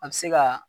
A bɛ se ka